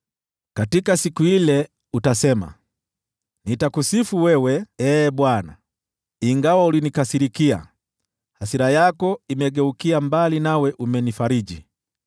Katika siku ile utasema: “Nitakusifu wewe, Ee Bwana . Ingawa ulinikasirikia, hasira yako imegeukia mbali nawe umenifariji.